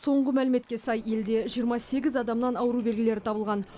соңғы мәліметке сай елде жиырма сегіз адамнан ауру белгілері табылған